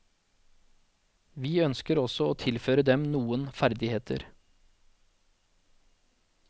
Vi ønsker også å tilføre dem noen ferdigheter.